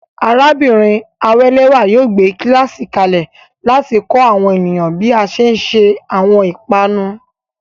Arábìnrin Awelewa yóò gbé kíláàsì kalẹ̀ láti kọ́ àwọn ènìyàn bí a ṣe ń se àwọn ìpanu.